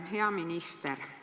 Hea minister!